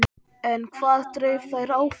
En hvað dreif þær áfram?